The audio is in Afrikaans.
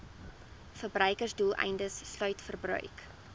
verbruiksdoeleindes sluit verbruik